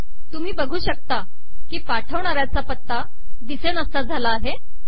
तुम्ही बघू शकता की पाठवणाऱ्याचा पत्ता दिसेनासा झाला आहे